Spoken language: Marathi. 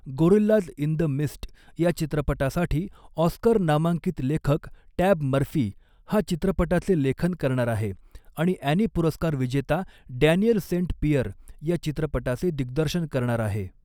गोरिल्लाज इन द मिस्ट या चित्रपटासाठी ऑस्कर नामांकित लेखक टॅब मर्फी हा चित्रपटाचे लेखन करणार आहे आणि ॲनी पुरस्कार विजेता डॅनियल सेंट पियर या चित्रपटाचे दिग्दर्शन करणार आहे.